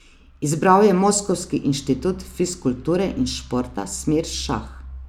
Izbral je moskovski Inštitut fizkulture in športa, smer šah.